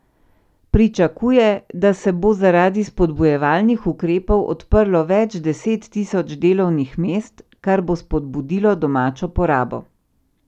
Pričakuje, da se bo zaradi spodbujevalnih ukrepov odprlo več deset tisoč delovnih mest, kar bo spodbudilo domačo porabo.